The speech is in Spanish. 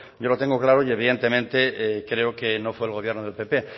yo lo tengo claro y evidentemente creo que no fue el gobierno del pp